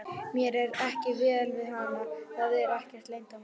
Mér er ekki vel við hana, það er ekkert leyndarmál.